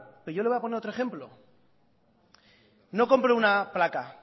pero yo le voy a poner otro ejemplo no compro una placa